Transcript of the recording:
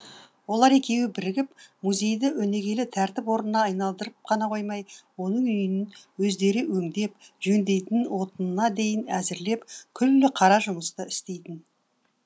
олар екеуі бірігіп музейді өнегелі тәртіп орнына айналдырып қана коймай оның үйін өздері өңдеп жөндейтін отынына дейін әзірлеп күллі қара жұмысты істейтін